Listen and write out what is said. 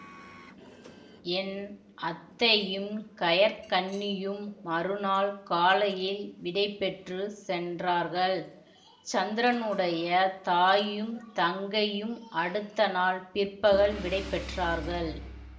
என் அத்தையும் கயற்கண்ணியும் மறுநாள் காலையில் விடைபெற்றுச் சென்றார்கள் சந்திரனுடைய தாயும் தங்கையும் அடுத்த நாள் பிற்பகல் விடைபெற்றார்கள்